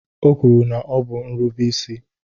O kwuru na ọ bụ nrubeisi